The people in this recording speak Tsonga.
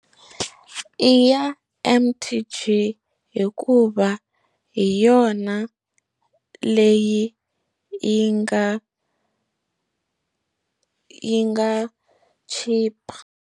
I ya M_T_G hikuva hi yona leyi yi nga yi nga chipa.